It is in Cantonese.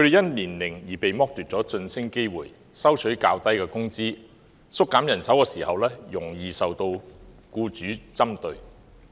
他們因年齡而被剝奪晉升機會、收取較低工資、在縮減人手時容易受僱主針對。